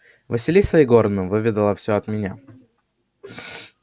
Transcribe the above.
василиса егоровна выведала всё от меня